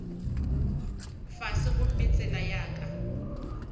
fase gomme tsela ya ka